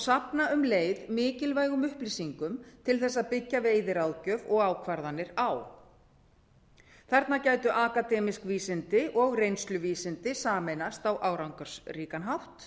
safna um leið mikilvægum upplýsingum til þess að byggja veiðiráðgjöf og ákvarðanir á þarna gætu akademísk vísindi og reynsluvísindi sameinast á árangursríkan hátt